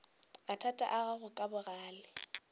mathata a gago ka bogale